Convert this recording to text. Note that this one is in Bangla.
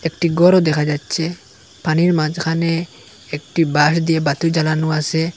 একটি ঘরও দেখা যাচ্ছে পানির মাঝখানে একটি বাঁশ দিয়ে বাতি জ্বালানো আসে।